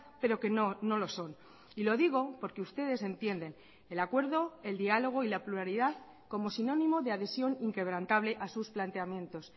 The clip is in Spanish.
pero que no lo son y lo digo porque ustedes entienden el acuerdo el diálogo y la pluralidad como sinónimo de adhesión inquebrantable a sus planteamientos